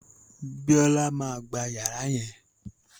Bíọ́là máa gba yàrá yẹn